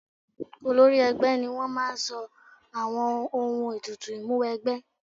Olórí ẹgbẹ́ ni wọ́n máa sọ àwọn ohun ètùtù Ìmúwẹgbẹ́